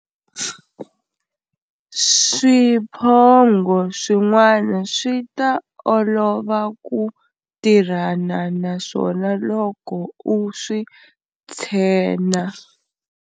Swiphongho swin'wana swi ta olova ku tirhana na swona loko u swi tshena.